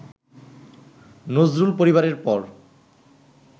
নজরুল পরিবারের পর